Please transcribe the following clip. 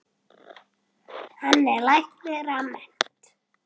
Hann er læknir að mennt.